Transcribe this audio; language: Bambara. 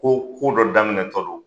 Ko ko dɔ daminɛ tɔ don.